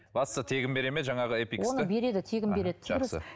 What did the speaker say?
бастысы тегін бере ме жаңағы эпиксты береді тегін береді жақсы